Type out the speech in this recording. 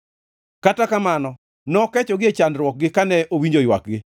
Kata kamano nokechogi e chandruokgi kane owinjo ywakgi;